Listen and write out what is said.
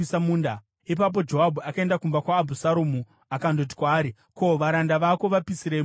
Ipapo Joabhu akaenda kumba kwaAbhusaromu akandoti kwaari, “Ko, varanda vako vapisirei munda wangu?”